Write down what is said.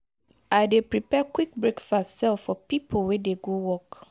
i dey prepare quick breakfast sell for pipo wey dey go work.